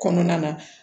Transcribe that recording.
Kɔnɔna na